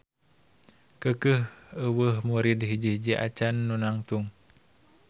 Keukeuh euweuh murid hiji-hiji acan nu nangtung.